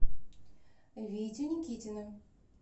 витю никитина